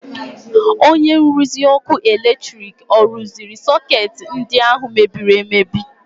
Onye nruzi ọkụ eletrik ọ rụziri sọkeetị ndị ahụ mebiri emebi?